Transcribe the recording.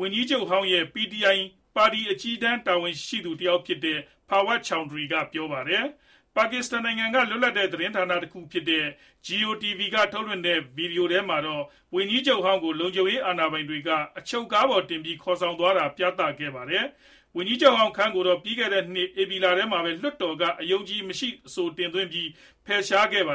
ဝန်ကြီးချုပ်ဟောင်းရဲ့ PTi ပါတီ အကြီးတန်း တာဝန်ရှိသူတယောက်ဖြစ်တဲ့ Fawad Chaudhry ကပြောပါတယ်။ ဖမ်းဆီးပြီး ရဲကားတစင်းပေါ်တင် ခေါ်ဆောင်သွားတယ်လို့လည်း ပြောပါတယ်။ ပါကစ္စတန်နိုင်ငံက လွတ်လပ်တဲ့ သတင်းဌာနတခုဖြစ်တဲ့ GEO TV က ထုတ်လွှင့်တဲ့ ဗွီဒီယိုထဲမှာတော့ ဝန်ကြီးချုပ်ဟောင်းကို လုံခြုံရေးအာဏာပိုင်တွေက အချုပ်ကားပေါ်တင်ပြီး ခေါ်ဆောင်သွားတာကို ပြသခဲ့ပါတယ်။ ဝန်ကြီးချုပ်ဟောင်း Khan ကိုတော့ ပြီးခဲ့တဲ့နှစ် ဧပြီလထဲမှာပဲ လွှတ်တော်က အယုံအကြည်မရှိ အဆိုတင်ပြီး ဖယ်ရှားခဲ့တာပါ